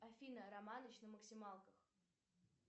афина романыч на максималках